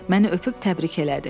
Məni öpüb təbrik elədi.